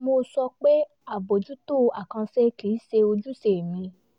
mo sọ pé àbójútó àkànṣe kì í ṣe ojúṣe mi